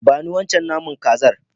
Ba ni wancan naman kazar.